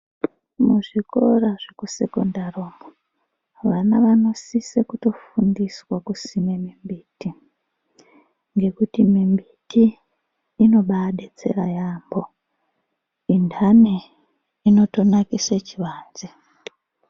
Muzvikora zvekusekondari umwo, vana vanosise kutofundiswa kusime mimbiti, ngekuti mimbiti inobadetsera yaamho. Intani inotonakise chivanze.